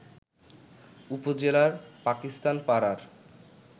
উপজেলার পাকিস্তানপাড়ার